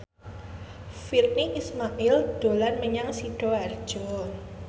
Virnie Ismail dolan menyang Sidoarjo